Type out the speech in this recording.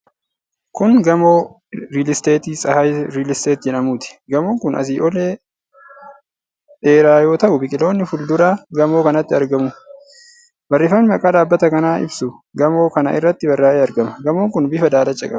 Kun gamoo riilisteetii Tsahaay Riilsteet jedhamuuti. Gamoon kun asii lolee dheeraa yoo ta'u biqiloonni fuuldura gamoo kanaatti argamu. Barreeffamni maqaa dhaabbata kanaa ibsu gamo kana irratti barraa'ee argama. Gamoon kun bifa daalacha ta'e qaba.